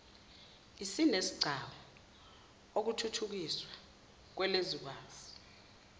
isinesigcawu okuthuthukiswa kwelelizwekazi